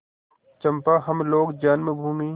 चंपा हम लोग जन्मभूमि